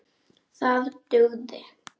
Það dugði.